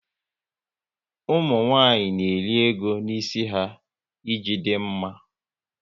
Ụmụnwanyị n'eri ego n'isi ha, ị ji dị mma